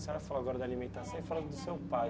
A senhora falou agora de alimentação e falou do seu pai.